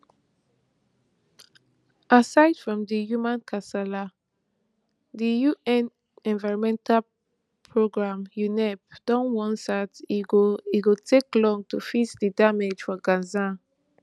aside from di human kasala di un environmental programme unep don warn sat e go e go take long to fix di damage for gaza